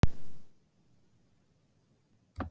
Ingveldur: Gengur ekki vel?